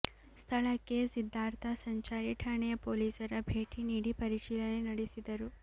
ಸ್ಥಳಕ್ಕೆ ಸಿದ್ಧಾರ್ಥ ಸಂಚಾರಿ ಠಾಣೆಯ ಪೊಲೀಸರ ಭೇಟಿ ನೀಡಿ ಪರಿಶೀಲನೆ ನಡೆಸಿದರು